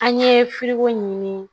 An ye ɲini